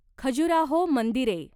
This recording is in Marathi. खजुराहो मंदिरे